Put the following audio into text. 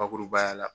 Bakurubaya la